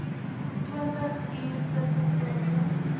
twintig uur tussenpose